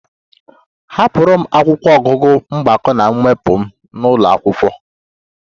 Ahapụrụ m akwụkwọ ọgụgụ mgbakọ na mwepụ m n'ụlọ akwụkwọ